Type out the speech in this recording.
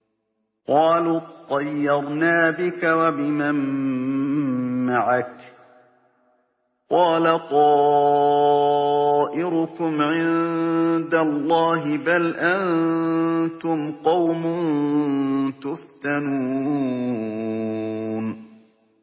قَالُوا اطَّيَّرْنَا بِكَ وَبِمَن مَّعَكَ ۚ قَالَ طَائِرُكُمْ عِندَ اللَّهِ ۖ بَلْ أَنتُمْ قَوْمٌ تُفْتَنُونَ